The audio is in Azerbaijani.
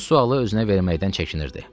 Bu sualı özünə verməkdən çəkinirdi.